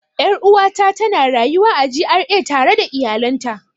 Er'uwa ta tana rayuwa a GRA tare da iyalan ta.